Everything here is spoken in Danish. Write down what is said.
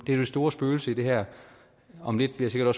det store spøgelse i det her om lidt bliver